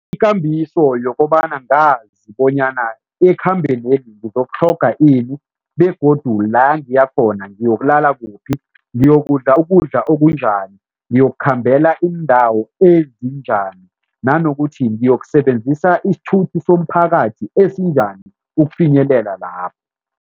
Ikambiso yokobana ngazi bonyana ekhambeneli ngizokutlhoga ini begodu la ngiya khona ngiyokulala kuphi, ngiyokudla ukudla okunjani, ngiyokukhambela iindawo ezinjani nanokuthi ngiyokusebenzisa isithuthi somphakathi esinjani ukufinyelela lapho.